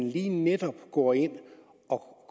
lige netop går ind og